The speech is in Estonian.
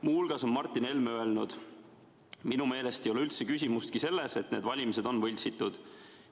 Muu hulgas on Martin Helme öelnud: "Minu meelest ei ole üldse küsimustki selles, et need valimised on võltsitud.